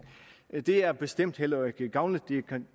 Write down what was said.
det er bestemt heller ikke gavnligt det kan